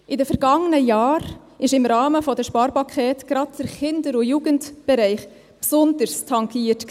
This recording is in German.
In den vergangenen Jahren war im Rahmen der Sparpakete gerade der Kinder- und Jugendbereich besonders tangiert.